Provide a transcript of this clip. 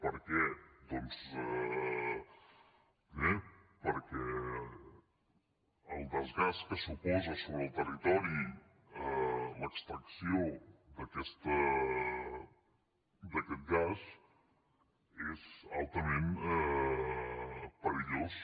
per què doncs primer perquè el desgast que suposa sobre el territori l’extracció d’aquest gas és altament perillós